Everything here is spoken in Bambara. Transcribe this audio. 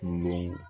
Den